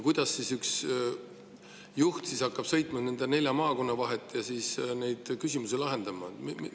Kuidas hakkab see üks juht sõitma nelja maakonna vahet ja neid küsimusi lahendama?